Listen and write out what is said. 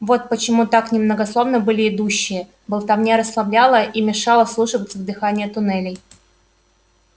вот почему так немногословны были идущие болтовня расслабляла и мешала вслушиваться в дыхание туннелей